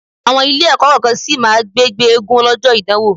Àwọn Ilé-ẹ̀kọ́ kọ̀ọ̀kan sì má máa gbé gbé eégún lọ́jọ́ ìdánwò